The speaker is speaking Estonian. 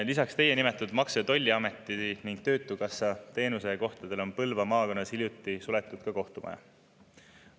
" Lisaks teie nimetatud Maksu- ja Tolliameti ning töötukassa teenusekohtadele on Põlva maakonnas hiljuti suletud ka kohtumaja.